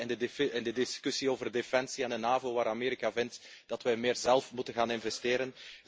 We zien dat in de discussie over defensie en de NAVO, waar Amerika vindt dat wij meer zelf moeten gaan investeren.